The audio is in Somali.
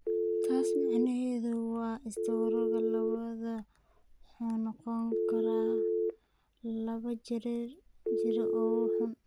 Taas macnaheedu waa istaroogga labaad wuxuu noqon karaa laba jeer oo xun.